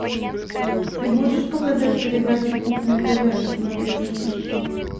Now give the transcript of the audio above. ты можешь показать передачу кухня тв на смотрешке